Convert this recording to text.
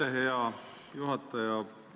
Aitäh, hea juhataja!